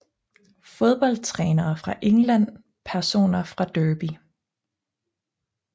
Fodboldtrænere fra England Personer fra Derby